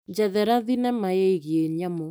Njethera thinema yĩgiĩ nyamũ.